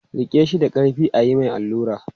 Riƙe shi da ƙarfi a yi mai allura!